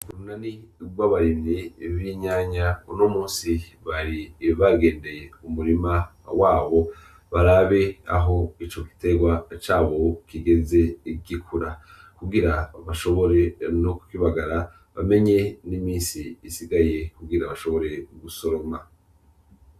Urunani gw'abarimyi b'inyanya, unomusi bari bagendeye umurima wabo barabe aho ico gitegwa cabo kibo kigeze gikura kugira bashobore no ku kibagara bamenye n'imisi isigaye kugira bashobore gusoroma.